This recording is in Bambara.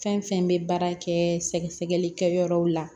Fɛn fɛn bɛ baara kɛ sɛgɛ sɛgɛli kɛyɔrɔw la